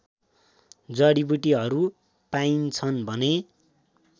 जडिबुटीहरू पाइन्छन् भने